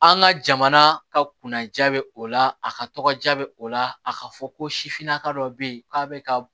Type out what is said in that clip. An ka jamana ka kunna ja bɛ o la a ka tɔgɔja bɛ o la a ka fɔ ko sifinnaka dɔ bɛ yen k'a bɛ ka